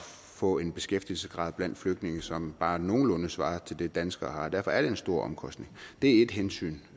få en beskæftigelsesgrad blandt flygtninge som bare nogenlunde svarer til den danskerne har derfor er det en stor omkostning det er et hensyn